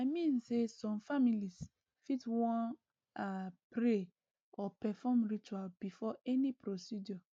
i mean say some families fit wan ah pray or perform ritual before any procedure